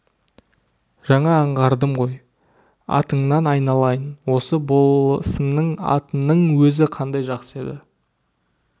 жаңа аңғардым ғой атыңнан айналайын осы болысымның атының өзі қандай жақсы еді